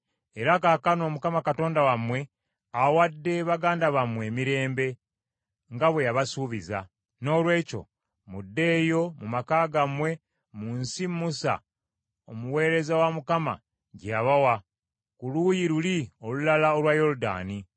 Era kaakano Mukama Katonda wammwe awadde baganda bammwe emirembe nga bwe yabasuubiza. Noolwekyo muddeeyo mu maka gammwe mu nsi Musa omuweereza wa Mukama gye yabawa ku luuyi luli olulala olwa Yoludaani.